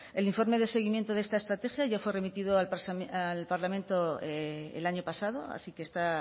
el informe de seguimiento de esta estrategia ya fue remitido al parlamento el año pasado así que está